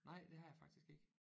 Nej det har jeg faktisk ikke